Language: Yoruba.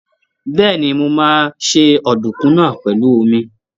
Bẹ́ẹ̀ni, mo máa se ọ̀dùnkún náà pèlú omi.